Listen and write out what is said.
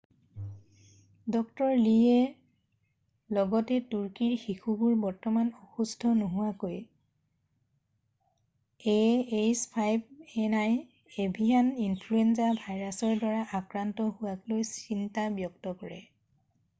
ড. লীয়ে লগতে তুৰ্কীৰ শিশুবোৰ বৰ্তমান অসুস্থ নোহোৱাকৈ ah5n1 এভিয়ান ইনফ্লুৱেঞ্জা ভাইৰাছৰ দ্বাৰা আক্ৰান্ত হোৱাক লৈ চিন্তা ব্যক্ত কৰে।